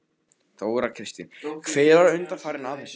Þóra Kristín: Hver var undanfarinn að þessu?